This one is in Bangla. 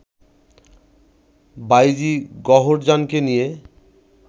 বাঈজী গওহরজানকে নিয়ে